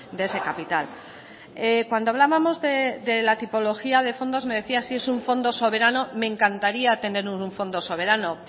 de ese capital cuando hablábamos de la tipología de fondos me decía si es un fondo soberano me encantaría tener un fondo soberano